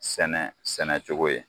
Sɛnɛ sɛnɛ cogo ye